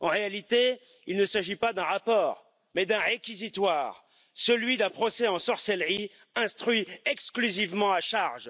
En réalité, il ne s'agit pas d'un rapport, mais d'un réquisitoire, celui d'un procès en sorcellerie instruit exclusivement à charge.